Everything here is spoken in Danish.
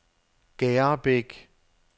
Gerrebæk